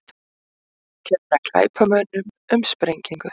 Kenna glæpamönnum um sprengingu